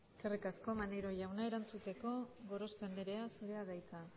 eskerrik aska maneiro jauna erantzuteko gorospe anderea zurea da hitza